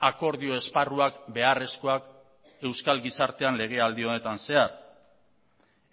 akordio esparruak beharrezkoak euskal gizartean legealdi honetan zehar